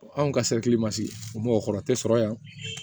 Anw ka mɔgɔw kɔrɔ tɛ sɔrɔ yan